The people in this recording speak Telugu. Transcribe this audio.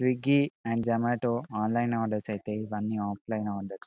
Swiggy and Zomato online order అయితే ఇవ్వని ఓఫ్ఫ్లిన్ ఆర్డర్స్ .